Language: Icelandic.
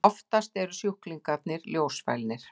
Oftast eru sjúklingarnir ljósfælnir.